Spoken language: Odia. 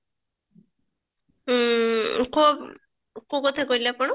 ହୁଁ କୋ କଓୟାଉ କଥା କହିଲେ ଆପଣ